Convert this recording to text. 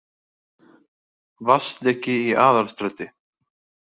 Vatnsleki í Aðalstræti